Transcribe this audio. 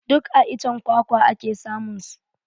Duk a iccen kwakwa ake samun su